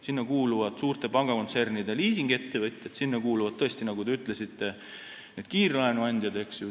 Sinna kuuluvad suurte pangakontsernide liisingettevõtjad, sinna kuuluvad tõesti ka kiirlaenuandjad.